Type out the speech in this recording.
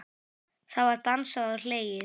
Það var dansað og hlegið.